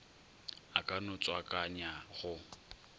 a ka no tswakanya go